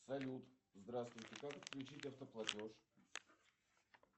салют здравствуйте как отключить автоплатеж